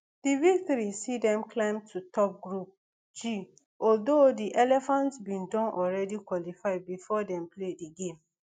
di victory see dem climb to top group g although di elephants bin don already qualify bifor dem play di game